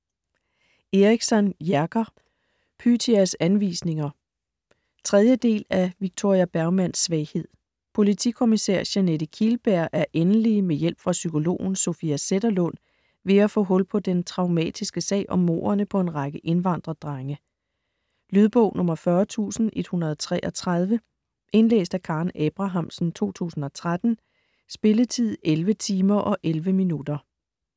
Eriksson, Jerker: Pythias anvisninger 3. del. del af Victoria Bergmans svaghed. Politikommissær Jeanette Kihlberg er endelig med hjælp fra psykologen Sofia Zetterlund ved at få hul på den traumatiske sag om mordene på en række indvandrerdrenge. Lydbog 40133 Indlæst af Karen Abrahamsen, 2013. Spilletid: 11 timer, 11 minutter.